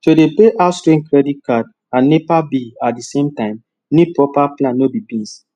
to dey pay house rent credit card and nepa bill at di same time need proper plan no be beans